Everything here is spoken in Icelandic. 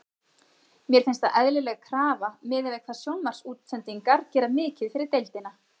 Mér finnst það eðlileg krafa miðað við hvað sjónvarpsútsendingar gera mikið fyrir deildina.